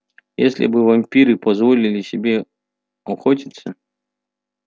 если бы вампиры позволили себе охотиться